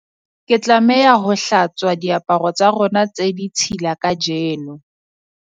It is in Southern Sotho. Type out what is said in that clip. ke tlameha ho hlatswa diaparo tsa rona tse ditshila kajeno